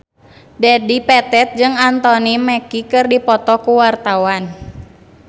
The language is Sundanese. Dedi Petet jeung Anthony Mackie keur dipoto ku wartawan